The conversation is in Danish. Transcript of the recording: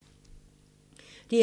DR2